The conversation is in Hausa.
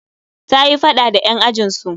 Ta yi faɗa da 'yan ajin su